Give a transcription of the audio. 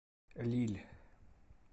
лилль